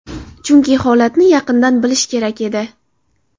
Chunki holatni yaqindan bilish kerak edi.